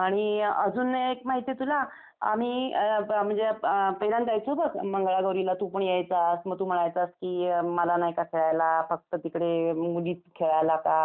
आणि अजून एक माहिती आहे तुला, आम्ही म्हणजे पहिल्यांदा जायचो बघ मंगळागौरीला, तू पण यायचास. मग तू म्हणायचास की मला नाही का खेळायला, फक्त तिकडे मुलीच खेळायला का मग.